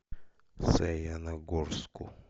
саяногорску